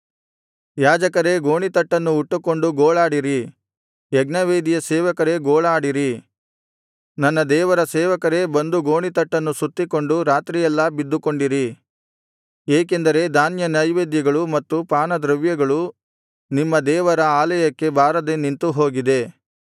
ಯಾಜಕರೇ ಗೋಣಿತಟ್ಟನ್ನು ಉಟ್ಟುಕೊಂಡು ಗೋಳಾಡಿರಿ ಯಜ್ಞವೇದಿಯ ಸೇವಕರೇ ಗೋಳಾಡಿರಿ ನನ್ನ ದೇವರ ಸೇವಕರೇ ಬಂದು ಗೋಣಿತಟ್ಟನ್ನು ಸುತ್ತಿಕೊಂಡು ರಾತ್ರಿಯೆಲ್ಲಾ ಬಿದ್ದುಕೊಂಡಿರಿ ಏಕೆಂದರೆ ಧಾನ್ಯನೈವೇದ್ಯಗಳು ಮತ್ತು ಪಾನದ್ರವ್ಯಗಳು ನಿಮ್ಮ ದೇವರ ಆಲಯಕ್ಕೆ ಬಾರದೆ ನಿಂತುಹೋಗಿದೆ